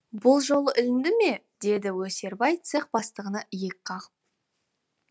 бұл жолы ілінді ме деді өсербай цех бастығына иек қағып